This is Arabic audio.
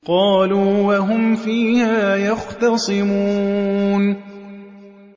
قَالُوا وَهُمْ فِيهَا يَخْتَصِمُونَ